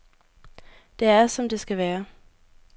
Det er, som det skal være.